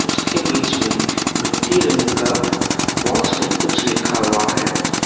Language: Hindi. उसके बीच में मिट्टी रंग का बॉक्स में कुछ लिखा हुआ है।